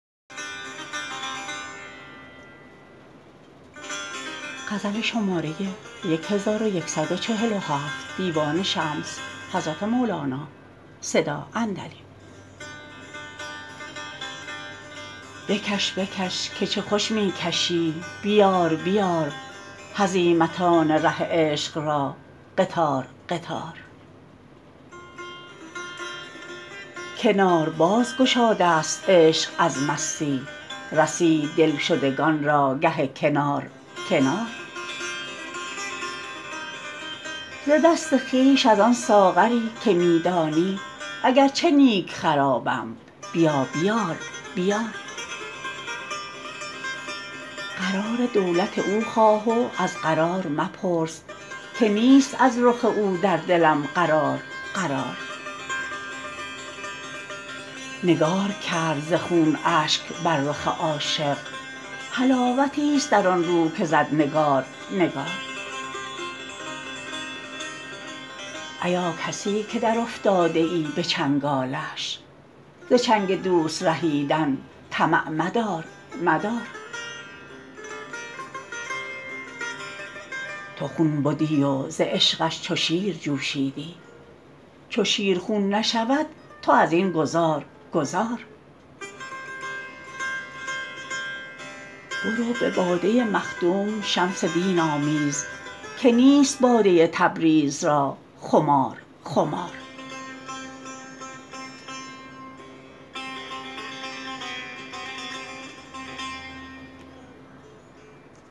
بکش بکش که چه خوش می کشی بیار بیار هزیمتان ره عشق را قطار قطار کنار بازگشادست عشق از مستی رسید دلشدگان را گه کنار کنار ز دست خویش از آن ساغری که می دانی اگر چه نیک خرابم بیا بیار بیار قرار دولت او خواه و از قرار مپرس که نیست از رخ او در دلم قرار قرار نگار کردن چون اشک بر رخ عاشق حلاوتیست در آن رو که زد نگار نگار ایا کسی که درافتاده ای به چنگالش ز چنگ دوست رهیدن طمع مدار مدار تو خون بدی وز عشقش چو شیر جوشیدی چو شیر خون نشود تو از این گذار گذار برو به باده مخدوم شمس دین آمیز که نیست باده تبریز را خمار خمار